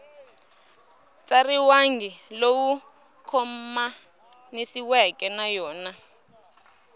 tsariwangi lowu khomanisiweke na yona